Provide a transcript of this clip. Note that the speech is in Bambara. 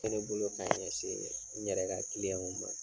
ne bolo k'a ɲɛsin n yɛrɛ ka kiliyanw ma.